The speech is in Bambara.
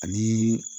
Ani